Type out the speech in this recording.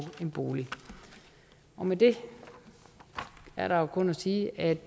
en bolig med det er der jo kun at sige at